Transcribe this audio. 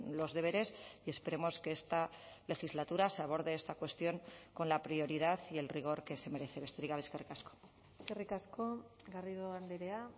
los deberes y esperemos que esta legislatura se aborde esta cuestión con la prioridad y el rigor que se merece besterik gabe eskerrik asko eskerrik asko garrido andrea